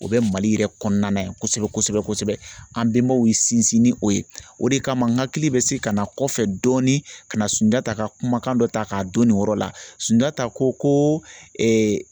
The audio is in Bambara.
O bɛ Mali yɛrɛ kɔnɔna yan kosɛbɛ kosɛbɛ kosɛbɛ an bɛnbaw ye sinsin ni o ye o de kama n ka hakili bɛ segin ka na kɔfɛ dɔɔni ka na Sunjata ka kumakan dɔ ta k'a don nin yɔrɔ la Sunjata ko ko